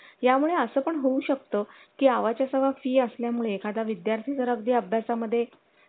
यामुळे असं पण होऊ शकतो की आवाज सा fee असल्यामुळे एखादा विद्यार्थी जर अगदी अभ्यासा मध्ये